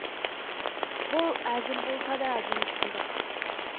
бұл әзіл болса да әдемі шындық